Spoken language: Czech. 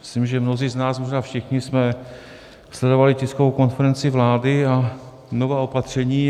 Myslím, že mnozí z nás, možná všichni, jsme sledovali tiskovou konferenci vlády a nová opatření.